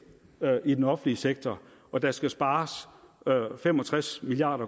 i den offentlige sektor og der skal spares fem og tres milliard